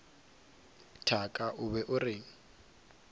thaka o be o reng